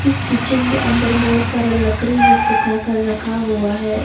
इस किचन के अंदर बहोत सारा लकड़ी भी सुख कर रखा हुआ है।